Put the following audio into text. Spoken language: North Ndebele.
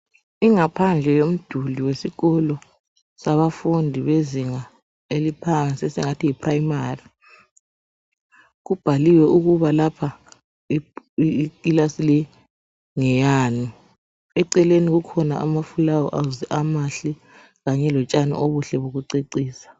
Ingaphandle yomduli wesikolo. sabafundi bezinga eliphansi esingathi yiprimary. Kubhaliwe ukuba lapha ikilasi leyii ngeyani. Eceleni kukhona amafulawuzi amahle, kanye lotshani obuhle bokucecisa.